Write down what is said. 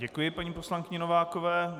Děkuji paní poslankyni Novákové.